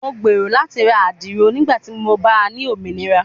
Mo gbero lati ra adiro nigbati mo ba ni ominira